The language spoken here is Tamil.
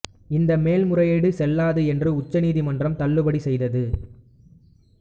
இந்த மேல்முறையீடு செல்லாது என்று உச்ச நீதிமன்றம் தள்ளுபடி செய்தது